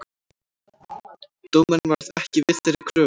Dómarinn varð ekki við þeirri kröfu